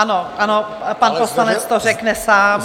Ano, ano, pan poslanec to řekne sám.